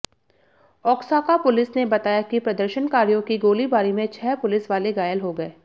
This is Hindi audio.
ओक्साका पुलिस ने बताया कि प्रदर्शनकारियों की गोलीबारी में छह पुलिस वाले घायल हो गए